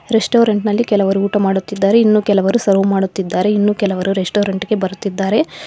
Restaurant ನಲ್ಲಿ ಕೆಲವರು ಊಟ ಮಾಡುತ್ತಿದ್ದಾರೆ ಇನ್ನು ಕೆಲವರು ಸರ್ವ ಮಾಡುತ್ತಿದ್ದಾರೆ ಇನ್ನು ಕೆಲವರು ರೆಸ್ಟೋರೆಂಟ್ ಗೆ ಬರುತ್ತಿದ್ದಾರೆ.